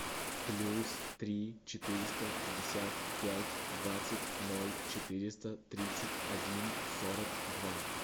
плюс три четыреста пятьдесят пять двадцать ноль четыреста тридцать один сорок два